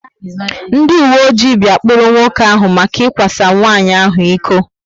Ndị uwe ojii bia kpụrụ nwoke áhù maka ikwa sa nwanyị ahụ ịkọ